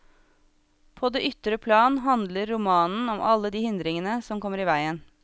På det ytre plan handler romanen om alle de hindringene som kommer i veien.